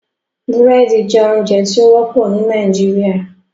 Búrẹ́dì jẹ ounjẹ ti o wọpọ ni Nigeria